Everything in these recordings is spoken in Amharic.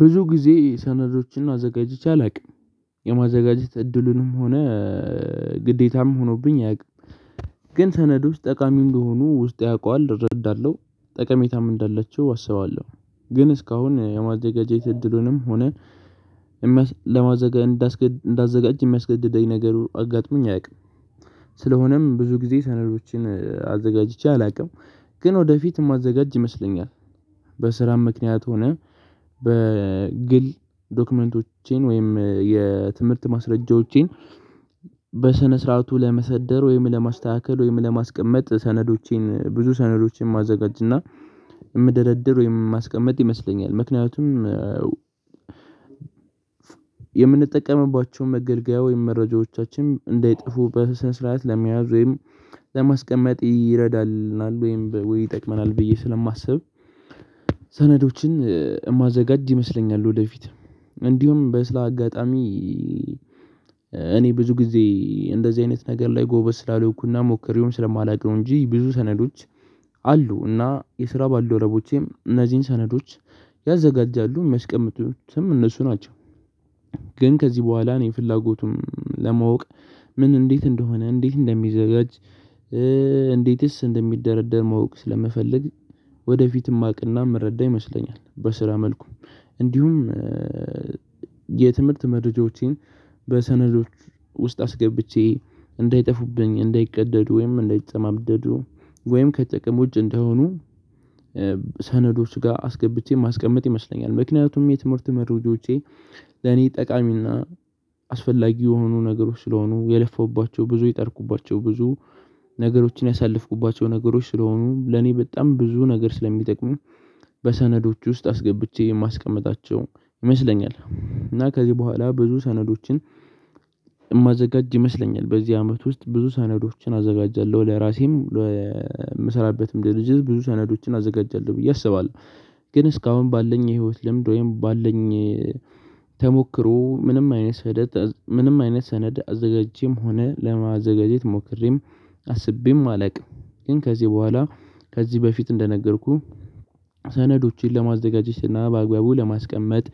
ብዙ ጊዜ ሰነዶችን አዘጋጅቼ አላቅም የማዘጋጀት እድሉንም ሆነ ግዴታም ሆኖብኝ አያቅም። ግን ሰነዶች ጠቃሚ እንደሆኑ ውስጥ ያውቃል እረዳለሁ ጠቀሜታም እንዳለችው አስባለሁ። ግን እስካሁን የማዘጋጀት እድሉንም ሆነ ለማዘጋጀት እንዳዘጋጅ የሚያስገድደኝ ነገር አጋጥሞኝ አያቅም። ስለሆነም ብዙ ጊዜ ሰነዶችን አዘጋጅቼ አላቅም። ግን ወደፊት እማዘጋጅ ይመስለኛል። በስራም ምክንያት ሆነ በግል ዶክመንቶቼን ወይም የትምህርት ማስረጃዎቼን። በስነ ስርዓቱ ለመሰደር ወይም ለማስተካከል ወይም ለማስቀመጥ ሰነዶቼን ብዙ ሰነዶቼን ማዘጋጅና ምደረድር ወይም ማስቀመጥ ይመስለኛል። ምክንያቱም የምንጠቀምባቸውን መገልገያ ወይም መረጃዎቻችን እንዳይጥፉ በስነ ስርዓት ለመያዝ ወይም ለማስቀመጥ ይረዳልናል ወይም ወይ ይጠቅመናል ብዬ ስለማስብ። ሰነዶችን እማዘጋጅ ይመስለኛል። ወደፊት እንዲሁም በስላ አጋጣሚ እኔ ብዙ ጊዜ እንደዚህ አይነት ነገር ላይ ጎበዝ ስላሉኩና ሞክሬውም ስለማላቅ ነው እንጂ ብዙ ሰነዶች አሉ እና የስራ ባልደረቦቼም እነዚህን ሰነዶች ያዘጋጃሉ ሚያስቀምጡትም እነሱ ናቸው። ግን ከዚህ በኋላ እኔ ፍላጎቱም ለማወቅ ምን እንዴት እንደሆነ እንዴት እንደሚዘጋጅ? እንዴትስ እንደሚደረደር ማወቅ ስለምፈልግ። ወደፊት ማቅ እና ምረዳ ይመስለኛል በስራ መልኩ። እንዲሁም የትምህርት መድረጃዎቼን በሰነዶች ውስጥ አስገብቼ እንዳይጠፉብኝ እንዳይቀደዱ ወይም እንዳይጨማደዱ ወይም ከጥቅም ውጭ እንዳይሆኑ። ሰነዶች ጋ አስገብቼ ማስቀመጥ ይመስለኛል። ምክንያቱም የትምህርት መረጃዎቼ ለኔ ጠቃሚና አስፈላጊ የሆኑ ነገሮች ስለሆኑ የለፉባቸው ብዙ የጠርኩባቸው ብዙ ነገሮችን ያሳለፍኩባቸው ነገሮች ስለሆኑ ለኔ በጣም ብዙ ነገር ስለሚጠቅሙ። በሰነዶች ውስጥ አስገብቼ የማስቀምጣቸው ይመስለኛል እና ከዚህ በኋላ ብዙ ሰነዶችን እማዘጋጅ ይመስለኛል። በዚህ አመት ውስጥ ብዙ ሰነዶችን አዘጋጃለሁ ለራሴም ለ ምሰራበትም ድርጅት ብዙ ሰነዶችን አዘጋጃለሁ ብዬ አስባለሁ። ግን እስካሁን ባለኝ የህይወት ልምድ ወይም ባለኝ ተሞክሮ ምንም አይነት ሰደት ምንም አይነት ሰነድ አዘጋጅቸም ሆነ ለማዘጋጀት ሞክሬም አስቤም አላቅም። ግን ከዚህ በኋላ ከዚህ በፊት እንደነገርኩህ ሰነዶችን ለማዘጋጀትና በአግባቡ ለማስቀመጥ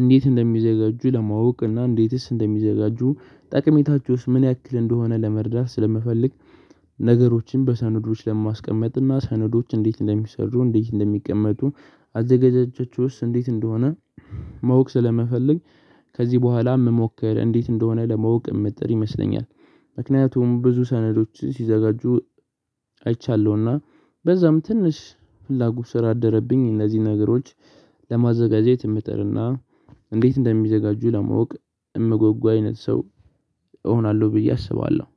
እንዴት እንደሚዘጋጁ ለማወቅ እና እንዴትስ እንደሚዘጋጁ ጠቅሜታችሁስ ምን ያክል እንደሆነ ለመርዳት ስለምፈልግ። ነገሮችን በሰነዶች ለማስቀመጥ እና ሰነዶች እንዴት እንደሚሰሩ እንዴት እንደሚቀመጡ? አዘገዛጀችውስ እንዴት እንደሆነ ማወቅ ስለመፈለግ። ከዚህ በኋላ ምሞክር እንዴት እንደሆነ ለማወቅ እምጥር ይመስለኛል። ምክንያቱም ብዙ ሰነዶች ሲዘጋጁ አይቻለሁ። እና በዛም ትንሽ ፍላጎት ስለ አደረብኝ እነዚህ ነገሮች ለማዘጋጄት እምጥርና እንዴት እንደሚዘጋጁ ለማወቅ እምጎጉ አይነት ሰው እሆናለሁ ብዬ አስባለሁ።